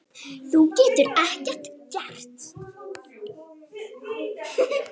Þú getur ekkert gert.